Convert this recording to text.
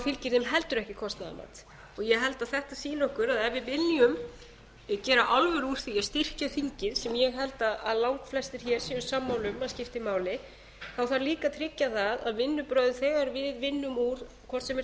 fylgir þeim heldur ekki kostnaðarmat og ég held að þetta sýni okkur að ef við viljum gera alvöru úr því að styrkja þingið sem ég held að langflestir hér séu sammála um að skipti máli þá þarf líka að tryggja það að vinnubrögð þegar við vinnum úr hvort sem er